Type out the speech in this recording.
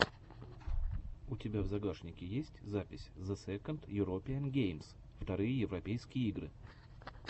у тебя в загашнике есть запись зе сэконд юропиэн геймс вторые европейские игры